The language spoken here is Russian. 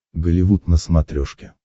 голливуд на смотрешке